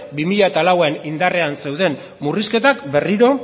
bi mila lauean indarrean zeuden murrizketak berriro